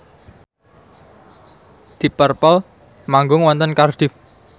deep purple manggung wonten Cardiff